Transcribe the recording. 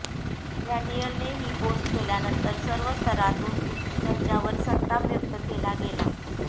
डॅनियलने ही पोस्ट केल्यानंतर सर्व स्तरांतून त्याच्यावर संताप व्यक्त केला गेला